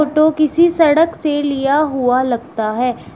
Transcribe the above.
Photo किसी सड़क से लिया हुआ लगता है।